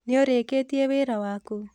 Nĩũrĩkĩtie wĩra waku?